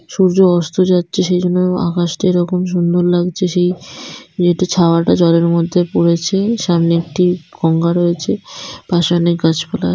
সূর্য অস্ত যাচ্ছে সেজন্য আকাশটা এরকম সুন্দর লাগছে সেই মেয়েটা ছাওয়াটা জলের মধ্যে পড়েছে সামনে একটি গঙ্গা রয়েছে পাসে অনেক গাছপালা।